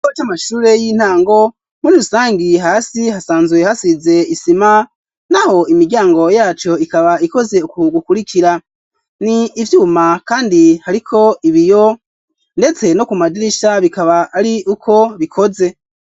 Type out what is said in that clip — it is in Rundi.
Ikigo c'amashure y'intango muri rusangi hasi hasazwe hasize isima n'aho imiryango yacu ikaba ikoze ku gukurikira n'ivyuma kandi hariko ibiyo ndetse no kumadirisha bikaba ari uko bikoze.